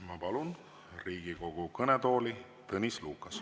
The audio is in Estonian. Ma palun Riigikogu kõnetooli Tõnis Lukase.